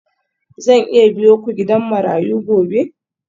Zan iya biyo ku gidan marayu gobe?